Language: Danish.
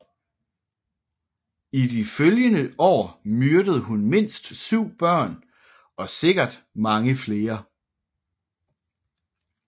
I de følgende år myrdede hun mindst syv børn og sikkert mange flere